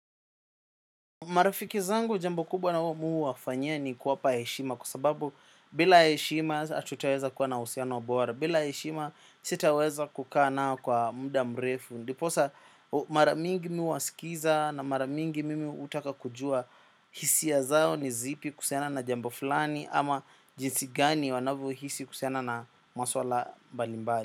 Marafiki zangu jambo kubwa mi huwafanyia ni kuwapa heshima kwa sababu bila heshima hatutaweza kuwa na uhusiano bora, bila heshima sitaweza kukaa nao kwa muda mrefu. Ndiposa mara mingi mi huwaskiza na mara mingi mimi hutaka kujua hisia zao ni zipi kuhusiana na jambo fulani ama jinsi gani wanavyohisi kuhusiana na maswala mbalimbali.